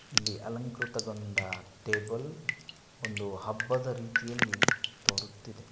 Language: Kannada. ಇಲ್ಲಿ ಅಲಂಕೃತಗೊಂಡ ಟೇಬಲ್ ಒಂದು ಹಬ್ಬದ ರೀತಿಯಲ್ಲಿ ತೋರುತ್ತಿದೆ.